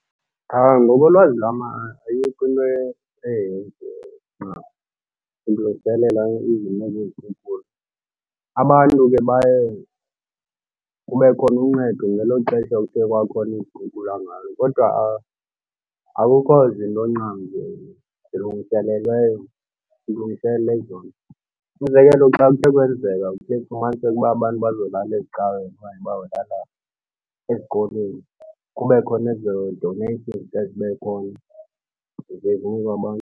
Ngokolwazi lam ayikho into ekhe yenziwa ukulungiselelwa izinto zezikhukula. Abantu ke baye kube khona uncedo ngelo xesha kuthe kwakhona izikhukhula ngayo kodwa akukho zinto ncam zilungiselelweyo zilungiselelwa ezo nto. Umzekelo xa kuthe kwenzeka kuye fumanise uba abantu bazolala ezicaweni okanye bazolala ezikolweni, kube khona ezo donations ziye zibe khona, ze zinikwe abantu.